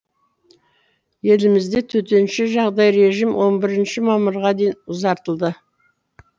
елімізде төтенше жағдай режим он бірінші мамырға дейін ұзартылды